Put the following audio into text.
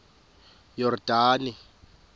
yordane